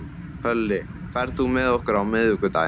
Hlölli, ferð þú með okkur á miðvikudaginn?